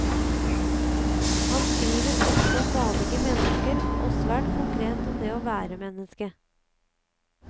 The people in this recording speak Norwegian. Han skriver ofte om vanlige mennesker og svært konkret om det å være menneske.